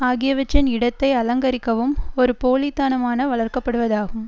ஆகியவற்றின் இடத்தை அலங்கரிக்கவும் ஒரு போலி தனமான வளர்க்கப்படுவதாகும்